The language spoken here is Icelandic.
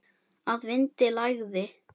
Að vindinn lægði.